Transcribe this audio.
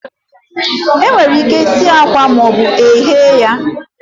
Enwere ike sie akwa ma ọ bụ eghe ya